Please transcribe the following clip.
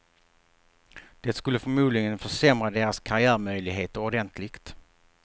Det skulle förmodligen försämra deras karriärmöjligheter ordentligt.